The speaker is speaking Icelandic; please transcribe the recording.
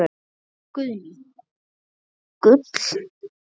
Guðný: Gull?